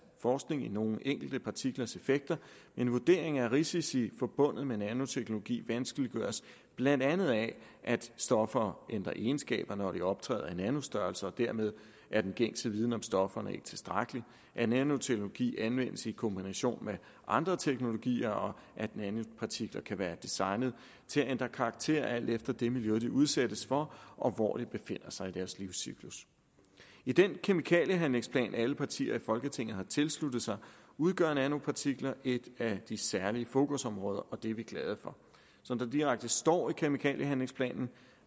forskning i nogle enkelte partiklers effekter men vurderingen af risici forbundet med nanoteknologi vanskeliggøres blandt andet af at stoffer ændrer egenskaber når de optræder i nanostørrelse og dermed er den gængse viden om stofferne ikke tilstrækkelig nanoteknologi anvendes i kombination med andre teknologier og nanopartikler kan være designet til at ændre karakter alt efter det miljø de udsættes for og hvor de befinder sig i deres livscyklus i den kemikaliehandlingsplan alle partier i folketinget har tilsluttet sig udgør nanopartikler et af de særlige fokusområder og det er vi glade for som der direkte står i kemikaliehandlingsplanen